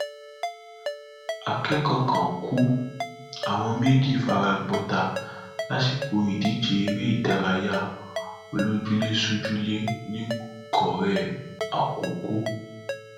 akẹkọọ kan kù àwọn méjì fara gbọta lásìkò ìdíje eré ìdárayá olójúlé sójúlé nìkórè àkókò